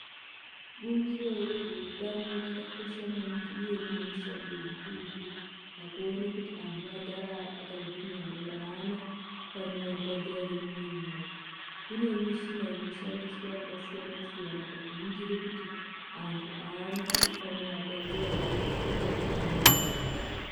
Bumbiro rezveutano rakakosha maningi uye rine mushando mukurutu pakuone kuti vantu vagara vakagwinya ere, aana panoarwadza ere mumwiri mwawo kune mishina inoshandiswa yakasiyana siyana pakuningira kuti antu aana panoarwadza ere mukati mwemiri wawo.